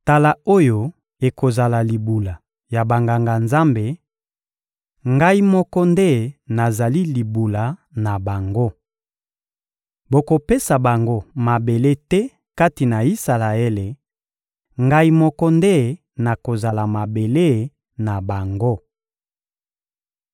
Tala oyo ekozala libula ya Banganga-Nzambe: Ngai moko nde nazali libula na bango. Bokopesa bango mabele te kati na Isalaele; Ngai moko nde nakozala mabele na bango.